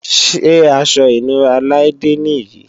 Ṣé aṣọ ìnura Laide nì yí?